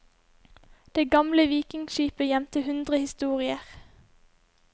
Det gamle vikingskipet gjemte hundre historier.